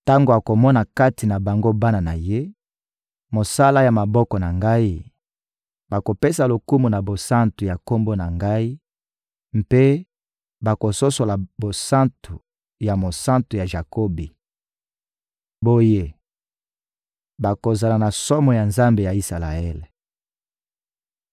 Tango akomona kati na bango bana na ye, mosala ya maboko na Ngai, bakopesa lokumu na bosantu ya Kombo na Ngai mpe bakososola bosantu ya Mosantu ya Jakobi. Boye, bakozala na somo ya Nzambe ya Isalaele.